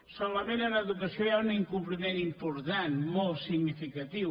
solament en educació hi ha un incompliment important molt significatiu